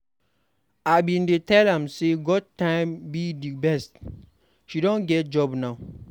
I bin dey tell am say God time be the best. She don get job now.